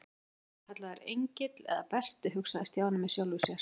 Skyldi hann vera kallaður Engill eða Berti hugsaði Stjáni með sjálfum sér.